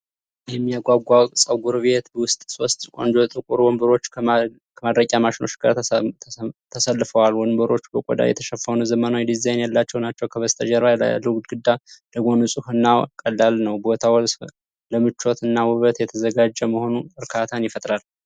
የሚያጓጓ! ፀጉር ቤት ውስጥ ሶስት ቆንጆ ጥቁር ወንበሮች ከማድረቂያ ማሽኖች ጋር ተሰልፈዋል። ወንበሮቹ በቆዳ የተሸፈኑ ዘመናዊ ዲዛይን ያላቸው ናቸው። ከበስተጀርባ ያለው ግድግዳ ደግሞ ንፁህ እና ቀላል ነው። ቦታው ለምቾት እና ውበት የተዘጋጀ መሆኑ እርካታን ይፈጥራል።